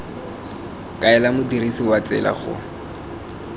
kaela modirisi wa tsela go